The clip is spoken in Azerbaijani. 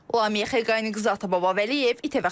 Ləmiyə Xəqaniqızı, Atababa Vəliyev, İTV Xəbər.